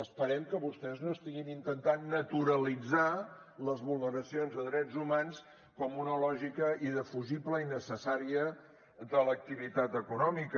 esperem que vostès no estiguin intentant naturalitzar les vulneracions de drets humans com una lògica indefugible i necessària de l’activitat econòmica